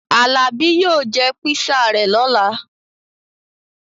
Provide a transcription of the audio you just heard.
Alabi yóò jẹ pisa rẹ̀ lọ́la